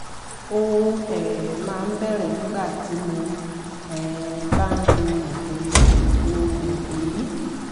ó um máa ń bẹ̀rẹ̀ nígbà tí mo um bá ń lo oògùn yìí lo oògùn yìí